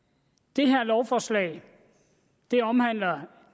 det her lovforslag omhandler